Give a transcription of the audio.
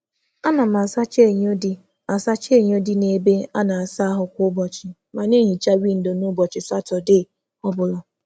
A na m asacha enyo kwa um ụbọchị n’ime ụlọ ịsa ahụ, ma na-asacha windo kwa Satọdee.